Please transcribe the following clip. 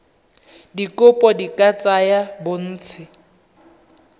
dikopo di ka tsaya bontsi